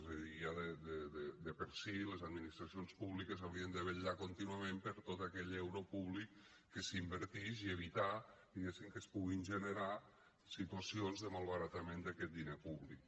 és a dir ja de per si les administracions públiques haurien de vetllar contínuament per tot aquell euro públic que s’invertix i evitar diguéssim que es puguin generar situacions de malbaratament d’aquest diner públic